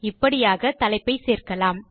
இப்படியாக தலைப்பை சேர்க்கலாம்